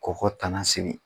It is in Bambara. K'o ko tanna sigi.